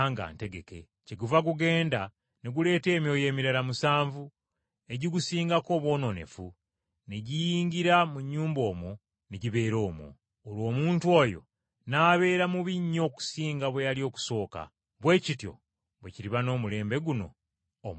Kyeguva gugenda ne guleeta emyoyo emirala musanvu egigusingako obwonoonefu, ne giyingira mu nnyumba omwo ne gibeera omwo. Olwo omuntu oyo n’abeera bubi nnyo okusinga bwe yali okusooka. Bwe kityo bwe kiriba n’omulembe guno omwonoonefu.”